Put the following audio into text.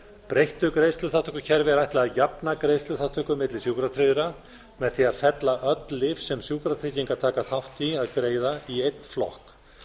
breyttu greiðsluþátttökukerfi er ætlað að jafna greiðsluþátttöku milli sjúkratryggðra með því að fella öll lyf sem sjúkratryggingar taka þátt í að greiða í einn flokk